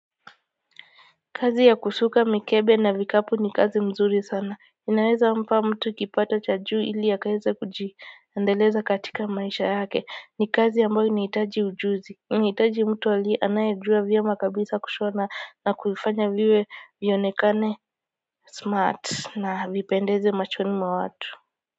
Kazi ya kusuka mikebe na vikapu ni kazi mzuri sana, inaweza mpa mtu kipato cha juu ili akaeze kujiendeleza katika maisha yake, ni kazi ambayo inahitaji ujuzi inahitaji mtu aliye anayejua vyema kabisa kushona na kuifanya viwe vionekane smart na vipendeze machoni mwa watu.